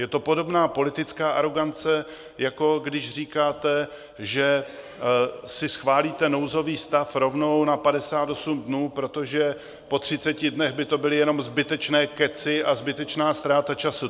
Je to podobná politická arogance, jako když říkáte, že si schválíte nouzový stav rovnou na 58 dnů, protože po 30 dnech by to byly jenom zbytečné kecy a zbytečná ztráta času.